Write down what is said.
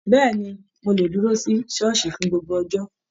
Béèni, mo le dúró sí ṣooṣi fún gbogbo ọjọ.